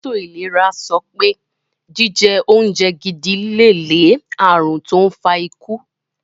Èlétò ìlera sopé jíje oúnje gidi lè lé ààrùn tó n fa ikú.